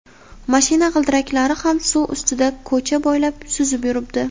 mashina g‘ildiraklari ham suv ustida ko‘cha bo‘ylab suzib yuribdi.